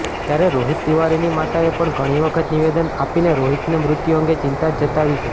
ત્યારે રોહિત તિવારીની માતાએ પણ ઘણી વખત નિવેદન આપીને રોહિતનાં મૃત્યુ અંગે ચિંતા જતાવી છે